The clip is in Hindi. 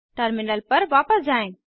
टर्मिनल पर वापस जाएँ